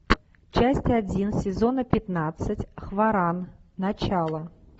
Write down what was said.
часть один сезона пятнадцать хваран начало